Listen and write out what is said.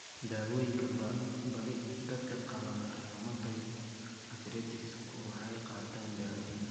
Daawooyinka badi dadka qaba rheumatoid arthritis-ku waxay qaataan dawooyin.